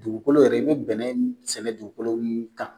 Dugukolo yɛrɛ, i bɛ bɛnɛ sɛnɛ dugukolo min kan.